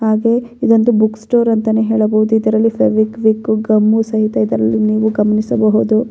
ಹಾಗೆ ಇದೊಂದು book store ಅಂತಾನೆ ಹೇಳಬಹುದು ಇದರಲ್ಲಿ ಫೆವಿಕ್ವಿಕ್ಕು ಗಮ್ಮು ಸಹಿತ ಇದರಲ್ಲಿ ನೀವು ಗಮನಿಸಬಹುದು.